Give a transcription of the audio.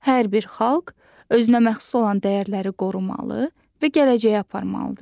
Hər bir xalq özünə məxsus olan dəyərləri qorumalı və gələcəyə aparmalıdır.